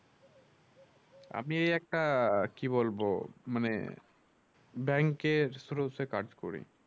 আমি এই একটা কি বলবো মানে bank এর source এ কাজ করি।